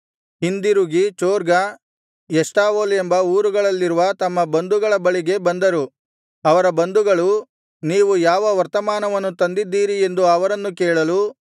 ಹಿಂದಿರುಗಿ ಚೊರ್ಗಾ ಎಷ್ಟಾವೋಲ್ ಎಂಬ ಊರುಗಳಲ್ಲಿರುವ ತಮ್ಮ ಬಂಧುಗಳ ಬಳಿಗೆ ಬಂದರು ಅವರ ಬಂಧುಗಳು ನೀವು ಯಾವ ವರ್ತಮಾನ ತಂದಿದ್ದೀರಿ ಎಂದು ಅವರನ್ನು ಕೇಳಲು